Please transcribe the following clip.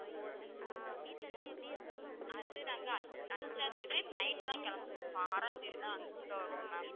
அது நாங்க அஞ்~அஞ்சாம் தேதி night தான் கிளம்புவோம் அப்போ ஆறாம் தேதி தான் இங்க வருவோம் ma'am.